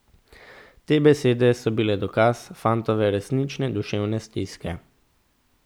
Te besede so bile dokaz fantove resnične duševne stiske.